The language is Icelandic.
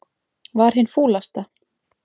Var hin fúlasta.